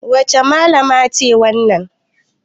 Wace Mallama ce wannan?